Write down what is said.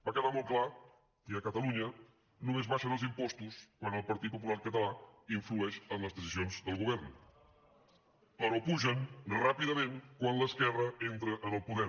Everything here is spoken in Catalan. va quedar molt clar que a catalunya només abaixen els impostos quan el partit popular català influeix en les decisions del govern però pugen ràpidament quan l’esquerra entra en el poder